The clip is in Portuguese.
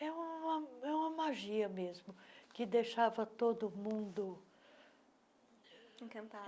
É uma uma é uma magia mesmo, que deixava todo mundo... Encantado.